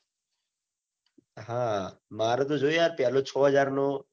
હા મારો તો જો યાર પેલો છો હજાર નો